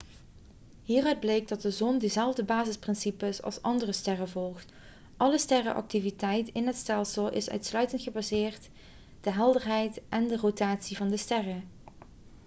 hieruit bleek dat de zon dezelfde basisprincipes als andere sterren volgt alle sterrenactiviteit in het stelsel is uitsluitend gebaseerd de helderheid en rotatie van de sterren